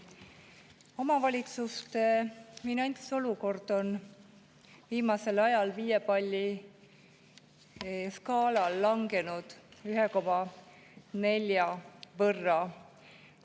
Omavalitsuste finantsolukord on viimasel ajal viie palli skaalal langenud 1,4 võrra.